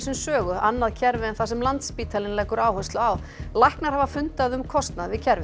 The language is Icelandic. Sögu annað kerfi en það sem Landspítalinn leggur áherslu á læknar hafa fundað um kostnað við kerfið